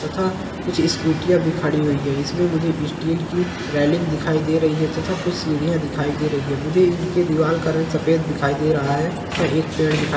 तथा कुछ स्कूटीयां भी खड़ी हुई हैं। इसमे मुझे स्टील की रेलिंग दिखाई दे रही है तथा कुछ सीढ़ियाँ दिखाई दे रही हैं। मुझे इनकी दीवाल का रंग सफेद दिखाई दे रहा है तथा एक पेड़ दिखा --